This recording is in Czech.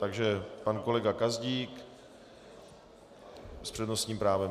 Takže pan kolega Gazdík s přednostním právem.